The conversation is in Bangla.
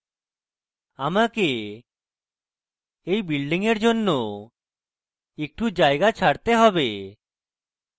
আমাকে এই building এর জন্য একটু জায়গা ছাড়তে have